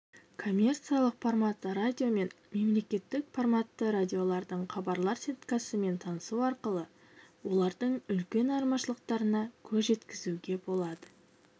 коммерциялық форматты радио мен мемлекеттік форматты радиолардың хабарлар сеткасымен танысу арқылы олардың үлкен айырмашылықтарына көз жеткізуге болады